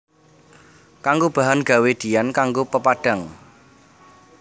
Kanggo bahan gawé diyan kanggo pepadhang